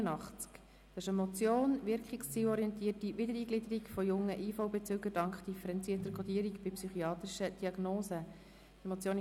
Es handelt sich um die Motion «Wirkungszielorientierte Wiedereingliederung von jungen IV-Bezügern dank differenzierter Codierung bei psychiatrischen Diagnosen».